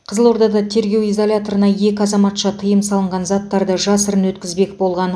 қызылордада тергеу изоляторына екі азаматша тыйым салынған заттарды жасырын өткізбек болған